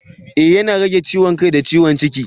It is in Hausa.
Ee yana rage ciwon kai da ciwon jiki.